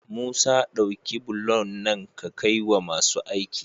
Musa dauki bulon nan ka kai wa masu aiki